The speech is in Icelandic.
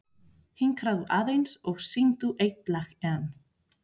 Hinkraðu aðeins og syngdu eitt lag enn.